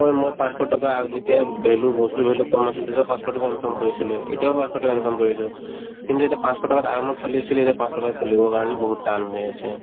মই মই পাঁচশ টকা যেতিয়া value বস্তু ধৰি লওক কম আছিল তেতিয়াও পাঁচশ টকা income কৰিছিলোয়ে এতিয়াও পাঁচশ টকা income কৰিলো কিন্তু এতিয়া পাঁচশ টকাক আৰামত চলি চলি এতিয়া পাঁচশ টকাত চলিব কাৰণে বহুত টান হৈ আছে